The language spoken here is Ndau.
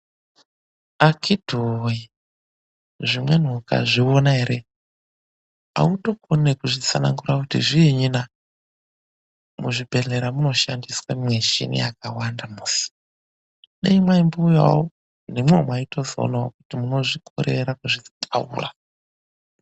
Akhiti woye, zvimweni ukazviona ere, autokoni nekuzvitsanangura kuti zviinyi na. Muzvibhedhlera munoshandiswa mwishini yakawanda musi. Dai mwaimbouyawo, nemwiwo mwaitozoonawo kuti munozvikorera kuzvitaura.